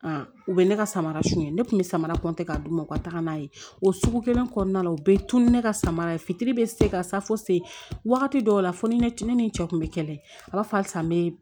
u bɛ ne ka samara suɲɛ ne kun bɛ samara kɔntɛ ka d'u ma u ka taga n'a ye o sugu kelen kɔnɔna la u bɛ tunu ne ka samara ye fitiri bɛ se ka safu se wagati dɔw la fo ni ne ni n cɛ kun bɛ kɛlɛ a b'a fɔ halisa n bɛ